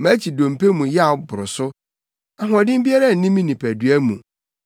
Mʼakyi dompe mu yaw boro so: ahoɔden biara nni me nipadua mu.